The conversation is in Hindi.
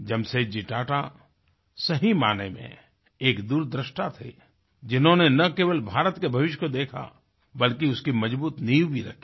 जमशेदजी टाटा सही मायने में एक दूरदृष्टा थे जिन्होंने ना केवल भारत के भविष्य को देखा बल्कि उसकी मजबूत नींव भी रखी